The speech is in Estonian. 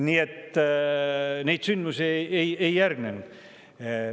Nii et selliseid sündmusi ei järgnenud.